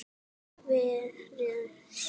vera sjö ár!